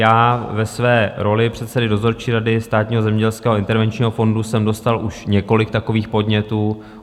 Já ve své roli předsedy dozorčí rady Státního zemědělského intervenčního fondu jsem dostal už několik takových podnětů.